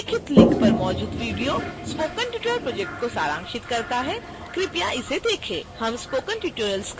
निम्नलिखित लिंक पर मौजूद वीडियो स्पोकन ट्यूटोरियल प्रोजेक्ट को सारांशित करता है कृपया इसे देखें